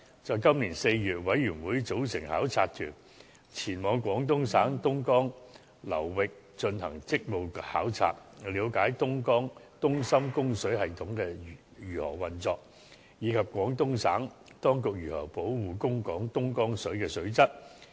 在今年4月，委員組成考察團，前往廣東省東江流域進行職務考察，了解東深供水系統如何運作，以及廣東省當局如何保護供港東江水的水質。